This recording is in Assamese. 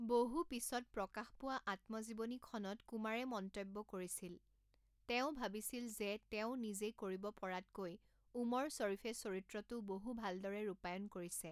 বহু পিছত প্ৰকাশ পোৱা আত্মজীৱনীখনত কুমাৰে মন্তব্য কৰিছিল, তেওঁ ভাবিছিল যে তেওঁ নিজে কৰিব পৰাতকৈ ওমৰ শ্বৰীফে চৰিত্ৰটো বহু ভালদৰে ৰূপায়ন কৰিছে।